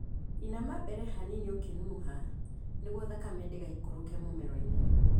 Inama mbere hanini ũkĩnunuha nĩguo thakame ndĩgaikũrũke mũmeroinĩ.